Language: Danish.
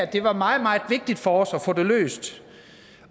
det var meget meget vigtigt for os at få det her løst